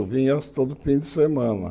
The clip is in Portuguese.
Eu vinha todo fim de semana.